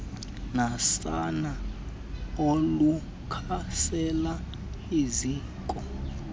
nasana olukhasela eziko